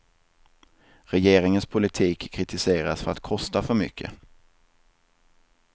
Regeringens politik kritiseras för att kosta för mycket.